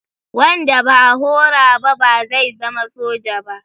Wanda ba a horo ba ba zai zama soja ba.